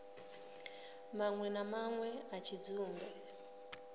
manwe na manwe a tshidzumbe